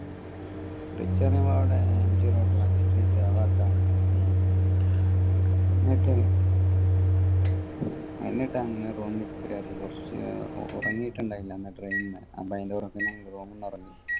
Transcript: rich പറയുമ്പോ അവിടെ MG road magistrate ആ ഭാഗത്താണ് എന്നിട്ട് എന്നിട്ട് അങ്ങ് room കേറി കുറച്ച് ഉറങ്ങിയിട്ടുണ്ടായില്ല അന്ന് train ന്ന് അപ്പോ ഉറങ്ങി